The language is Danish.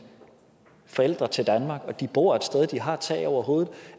forældre til danmark og de bor et sted og de har et tag over hovedet